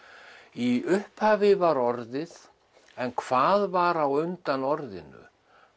í upphafi var orðið en hvað var á undan orðinu